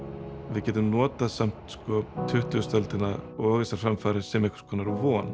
við getum notað samt tuttugustu öldina og þessar framfarir sem einhvers konar von